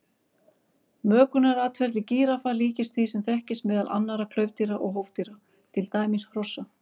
Mökunaratferli gíraffa líkist því sem þekkist meðal annarra klaufdýra og hófdýra, til dæmis hrossa.